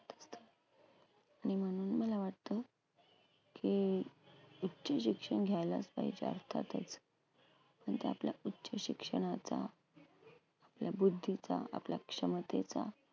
आणि म्हणून मला वाटतं, की उच्च शिक्षण घ्यायलाच पाहिजे अर्थातच पण ते आपल्या उच्च शिक्षणाचा, आपल्या बुद्धीचा, आपल्या क्षमतेचा